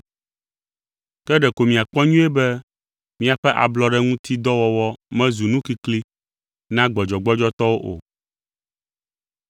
Ke ɖeko miakpɔ nyuie be miaƒe ablɔɖe ŋuti dɔ wɔwɔ mezu nu kikli na gbɔdzɔgbɔdzɔtɔwo o.